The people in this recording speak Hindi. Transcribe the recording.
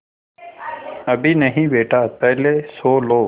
अभी नहीं बेटा पहले सो लो